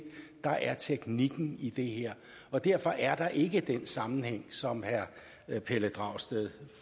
der er teknikken i det her og derfor er der ikke den sammenhæng som herre pelle dragsted